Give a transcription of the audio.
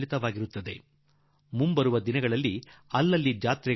ಬರುವ ದಿನಗಳಲ್ಲಿ ಎಲ್ಲೆಡೆ ಜಾತ್ರೆಗಳು ನಡೆಯಲಿವೆ